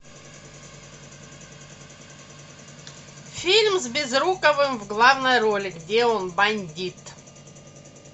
фильм с безруковым в главной роли где он бандит